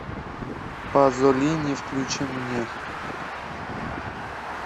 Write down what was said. пазолини включи мне